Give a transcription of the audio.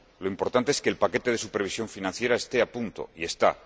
lo importante es que el paquete de supervisión financiera esté a punto, y lo